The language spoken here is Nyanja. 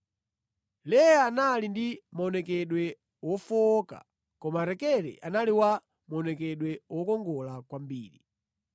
Leya anali ndi maonekedwe wofowoka koma Rakele anali wa maonekedwe wokongola kwambiri.